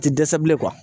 A tɛ dɛsɛ bilen